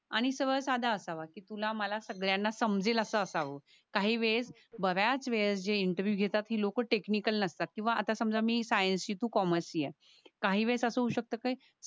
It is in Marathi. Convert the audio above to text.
आणि सरळ साधा असावा कि तुला मला सगळ्यांना समजेल असाव काही वेळेस बर्याच वेळेस जी इंटरव्हिव्ह घेतात ती लोक टेक्निकल नसतात किवा आता समजा मी सायन्स चि तू कॉमर्स चि ये काही वेळेस अस होऊशक्त कि